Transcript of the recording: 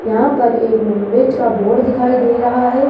यहां पर एक नॉनवेज का बोर्ड दिखाई दे रहा है।